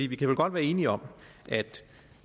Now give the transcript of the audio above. vi kan vel godt være enige om at